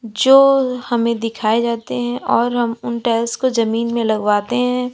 जो हमें दिखाए जाते हैं और हम उन टाइल्स को जमीन में लगवाते हैं।